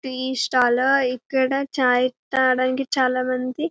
tea stall ఇక్కడ చై తాగడానికి చాల మంది--